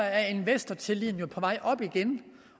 at investortilliden er på vej op igen